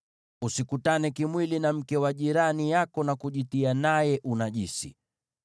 “ ‘Usikutane kimwili na mke wa jirani yako na kujitia naye unajisi.